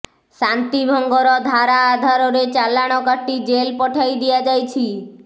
ଶାନ୍ତିଭଙ୍ଗର ଧାରା ଆଧାରରେ ଚାଲାଣ କାଟି ଜେଲ୍ ପଠାଇ ଦିଆଯାଇଛି